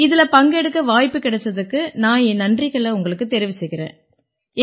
இதில பங்கெடுக்க வாய்ப்பு கிடைச்சதுக்கு நான் என் நன்றிகளை உங்களுக்குத் தெரிவிச்சுக்கறேன்